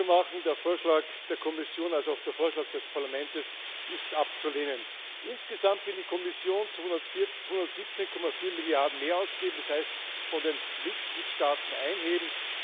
Um es kurz zu machen Sowohl der Vorschlag der Kommission als auch der Vorschlag des Parlaments ist abzulehnen. Insgesamt will die Kommission 217,4 Milliarden mehr ausgeben, das heißt, von den Mitgliedstaaten einheben.